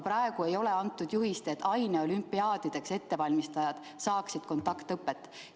Praegu aga ei ole antud juhist, et aineolümpiaadideks valmistujad peavad saama kontaktõpet.